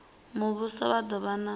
muvhuso vha do vha na